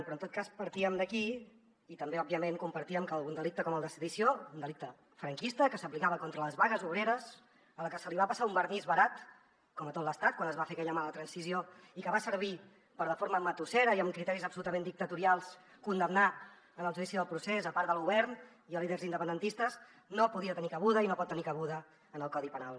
però en tot cas partíem d’aquí i també òbviament compartíem que algun delicte com el de sedició un delicte franquista que s’aplicava contra les vagues obreres al que se li va passar un vernís barat com a tot l’estat quan es va fer aquella mala transició i que va servir per de forma matussera i amb criteris absolutament dictatorials condemnar en el judici del procés part del govern i líders independentistes no podia tenir cabuda i no pot tenir cabuda en el codi penal